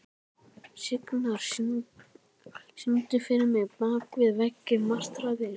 Signar, syngdu fyrir mig „Bak við veggi martraðar“.